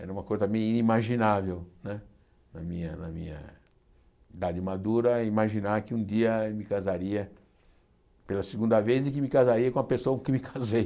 Era uma coisa também inimaginável, né na minha na minha idade madura, imaginar que um dia me casaria pela segunda vez e que me casaria com a pessoa com quem me casei.